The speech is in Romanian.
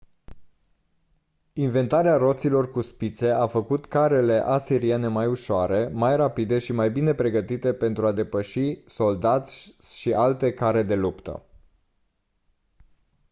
inventarea roților cu spițe a făcut carele asiriene mai ușoare mai rapide și mai bine pregătite pentru a depăși soldații și alte care de luptă